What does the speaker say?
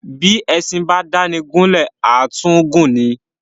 Bí éṣin bá dáni gún lè, à tún gùn ni.